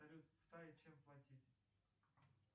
салют в тае чем платить